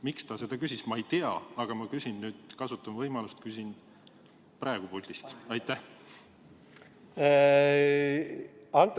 Miks ta seda küsis, ma ei tea, aga ma kasutan nüüd võimalust ja küsin seda praegu puldis kõnelejalt.